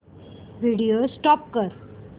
video stop कर